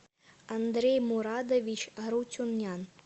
андрей мурадович арутюнян